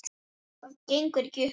Það gengur ekki upp.